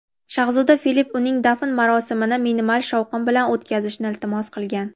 shahzoda Filipp uning dafn marosimini minimal shovqin bilan o‘tkazishni iltimos qilgan.